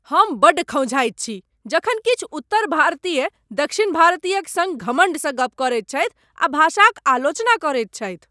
हम बड्ड खौँझाइत छी जखन किछु उत्तर भारतीय दक्षिण भारतीयक सङ्ग घमंड स गप्प करैत छथि आ भाषाक आलोचना करैत छथि।